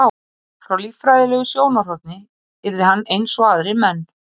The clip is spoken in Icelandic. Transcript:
frá líffræðilegu sjónarhorni yrði hann eins og aðrir menn